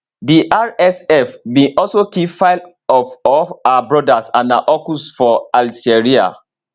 di rsf bin also kill five of of her brothers and her uncles for al seriha